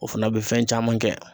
O fana be fɛn caman kɛ.